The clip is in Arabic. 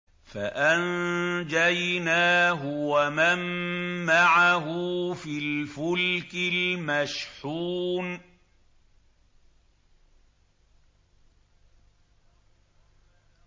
فَأَنجَيْنَاهُ وَمَن مَّعَهُ فِي الْفُلْكِ الْمَشْحُونِ